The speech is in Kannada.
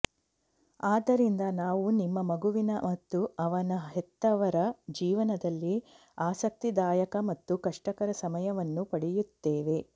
ಆದ್ದರಿಂದ ನಾವು ನಿಮ್ಮ ಮಗುವಿನ ಮತ್ತು ಅವನ ಹೆತ್ತವರ ಜೀವನದಲ್ಲಿ ಆಸಕ್ತಿದಾಯಕ ಮತ್ತು ಕಷ್ಟಕರ ಸಮಯವನ್ನು ಪಡೆಯುತ್ತೇವೆ